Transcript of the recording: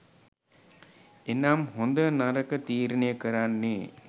එනම් හොඳ නරක තීරණය කරන්නේ